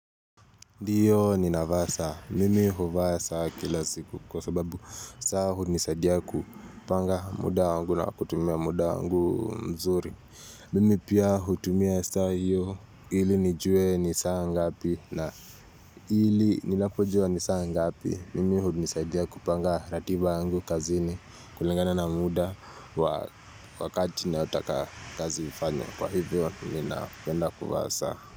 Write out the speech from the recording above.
Ndiyo ninava saa, mimi huvaa saa kilaziku kwa sababu saa hunisaidiya kupanga muda wangu na kutumia muda wangu mzuri. Mimi pia hutumia saha hiyo hili nijue ni saha ngapi na hili ninapojua ni saha ngapi mimi hunisaidiya kupanga ratiba wangu kazini kulingana na muda wakati ninaotaka kazi ifanywe kwa hivyo ninapenda kuvaa saa.